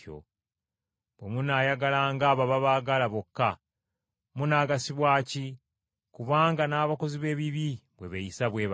“Bwe munaayagalanga abo ababaagala bokka, munaagasibwa ki? Kubanga n’abakozi b’ebibi bwe beeyisa bwe batyo.